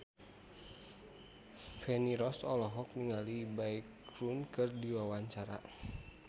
Feni Rose olohok ningali Baekhyun keur diwawancara